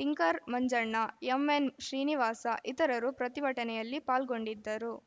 tinker Manjanna M N Srinivasa ಇತರರು ಪ್ರತಿಭಟನೆಯಲ್ಲಿ ಪಾಲ್ಗೊಂಡಿದ್ದರು